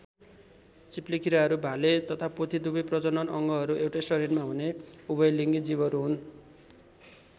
चिप्लेकीराहरू भाले तथा पोथी दुबै प्रजनन् अङ्गहरू एउटै शरीरमा हुने उभयलिङ्गी जीवहरू हुन्।